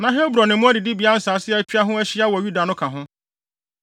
Na Hebron ne mmoa adidibea nsase a atwa ho ahyia wɔ Yuda no ka ho.